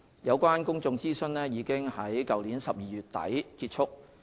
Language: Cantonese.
有關公眾諮詢已於去年12月底結束。